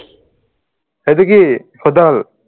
সেইটো কি